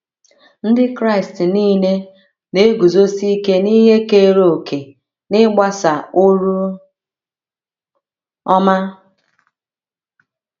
Ndị Kraịst nile na - eguzosi ike n’ihe keere òkè n’ịgbasa oru ọma.